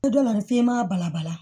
Don dɔ la f'i ma balabala